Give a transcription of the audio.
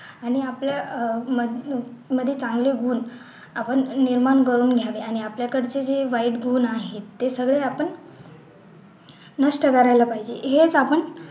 आणि आपल्या अह मध्ये चांगले गुण आपण निर्माण करून घ्यावे आणि आपल्या कडचे जे वाईट गुण आहे ते सगळे आपण नष्ट करायला पाहिजे हेच आपण